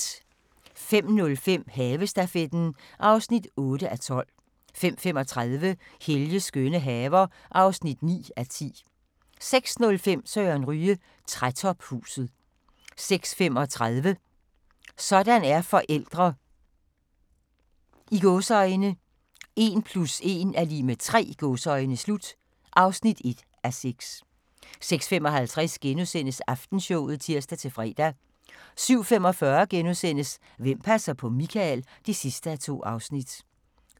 05:05: Havestafetten (8:12) 05:35: Helges skønne haver (9:10) 06:05: Søren Ryge: Trætophuset 06:35: Sådan er forældre – "1 + 1 = 3" (1:6) 06:55: Aftenshowet *(tir-fre) 07:45: Hvem passer på Michael? (2:2)*